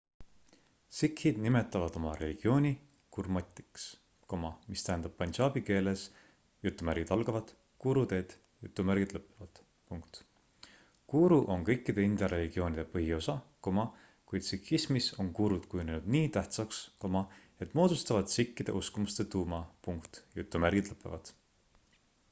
"sikhid nimetavad oma religiooni gurmatiks mis tähendab pandžabi keeles "guru teed"". guru on kõikide india religioonide põhiosa kuid sikhismis on gurud kujunenud nii tähtsaks et moodustavad sikhide uskumuste tuuma.